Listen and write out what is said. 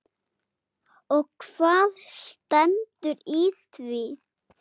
Og hvað stendur í því?